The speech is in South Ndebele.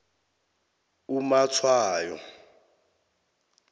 umatshwayo